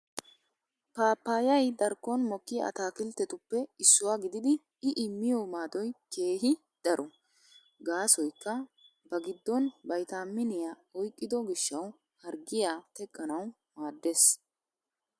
Paappayay darkkon mokkiya ataakkiltetuppe issuwaa gididi i immiyo maadoy keehi daro. Gaasoykka ba giddon vaytaaminiyaaniyaa oyqqido gishshawu harggiyaa teqqanawu maaddes.